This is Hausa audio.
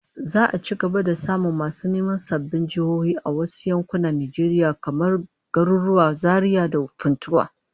Za'a ci gaba da samun masu neman sabbin jihohi a wasu yankunan Najeriya, kamar garuruwan Zaria da Funtua